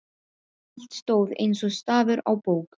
Allt stóð eins og stafur á bók.